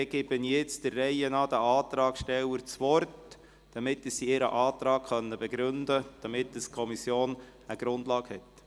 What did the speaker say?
Dann erteile ich den Antragstellern der Reihe nach das Wort, damit sie ihre Anträge begründen können und die Kommission eine Grundlage hat.